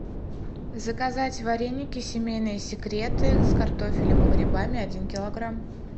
заказать вареники семейные секреты с картофелем и грибами один килограмм